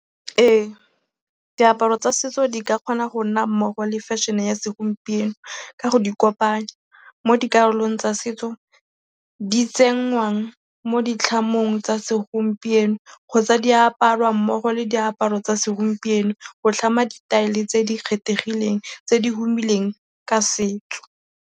Ee, diaparo tsa setso di ka kgona go nna mmogo le fashion-e ya segompieno ka go di kopanya. Mo dikarolong tsa setso, di tsenngwang mo ditlhamong tsa segompieno kgotsa di aparwa mmogo le diaparo tsa segompieno go tlhama ditaele tse di kgethegileng, tse di humileng ka setso